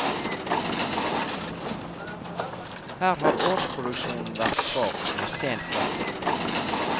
Her har årsproduksjonen vært svak, med sen klekking.